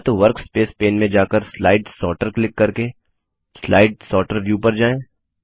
या तो workspace pane में जाकर स्लाइड सॉर्टर क्लिक करके स्लाइड सॉर्टर व्यू पर जाएँ